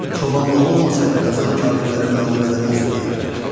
Çobanla olmasaydı, Qazan kafirləri məğlub eləməzdi deyərlər.